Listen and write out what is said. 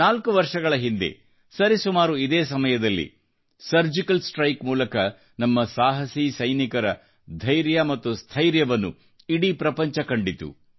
ನಾಲ್ಕು ವರ್ಷಗಳ ಹಿಂದೆ ಸರಿಸುಮಾರು ಇದೇ ಸಮಯದಲ್ಲಿ ಸರ್ಜಿಕಲ್ ಸ್ಟ್ರೈಕ್ ಮೂಲಕ ನಮ್ಮ ಸಾಹಸಿ ಸೈನಿಕರ ಧೈರ್ಯಸ್ಥೈರ್ಯವನ್ನು ಇಡೀ ಪ್ರಪಂಚವೇ ಕಂಡಿತು